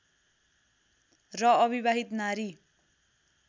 र अविवाहित नारी